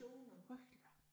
Det frygteligt